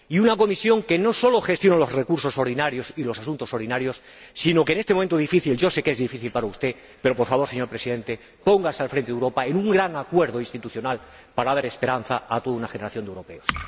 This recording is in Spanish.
Necesitamos una Comisión que no sólo gestione los recursos ordinarios y los asuntos ordinarios, sino que en este momento difícil —yo sé que es difícil para usted, señor Presidente— se ponga al frente de Europa en un gran acuerdo institucional para dar esperanza a toda una generación de europeos.